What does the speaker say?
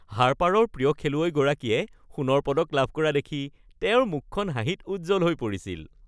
হাৰ্পাৰৰ প্ৰিয় খেলুৱৈগৰাকীয়ে সোণৰ পদক লাভ কৰা দেখি তেওঁৰ মুখখন হাঁহিত উজ্জ্বল হৈ পৰিছিল